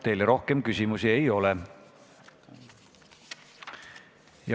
Teile rohkem küsimusi ei ole.